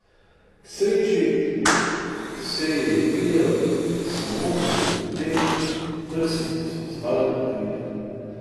K sreči se ji je videl samo dekolte, prsi pa so ostale pokrite.